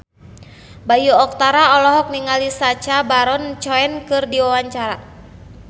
Bayu Octara olohok ningali Sacha Baron Cohen keur diwawancara